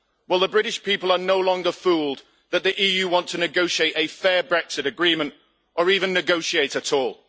Well, the British people are no longer fooled that the EU wants to negotiate a fair Brexit agreement, or even negotiate at all.